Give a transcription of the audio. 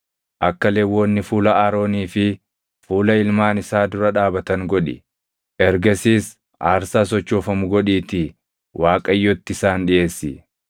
Akka Lewwonni fuula Aroonii fi fuula ilmaan isaa dura dhaabatan godhi; ergasiis aarsaa sochoofamu godhiitii Waaqayyotti isaan dhiʼeessi.